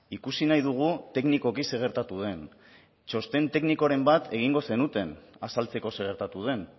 ikusi nahi dugu teknikoki zer gertatu den txosten teknikoren bat egingo zenuten azaltzeko zer gertatu den